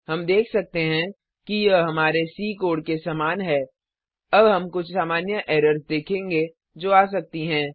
हम देख सकते हैं कि यह हमारे सी कोड के समान है अब हम कुछ सामान्य एरर्स देखेंगे जो आ सकती हैं